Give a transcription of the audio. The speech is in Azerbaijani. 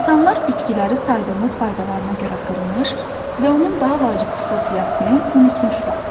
İnsanlar bitkiləri saydığımız faydalarına görə qırmış və onun daha vacib xüsusiyyətini unutmuşlar.